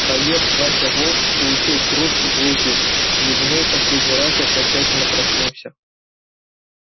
боец вася волков получив кружку в руки зевнул в последний раз и окончательно проснулся